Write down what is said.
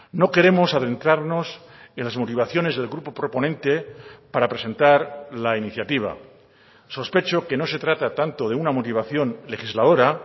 no queremos adentrarnos en las motivaciones del grupo proponente para presentar la iniciativa sospecho que no se trata tanto de una motivación legisladora